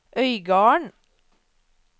Øygarden